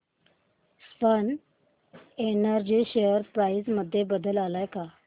Swan energy share price मध्ये बदल आलाय का